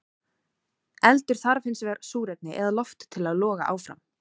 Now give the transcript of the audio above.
Eldur þarf hins vegar súrefni eða loft til að loga áfram.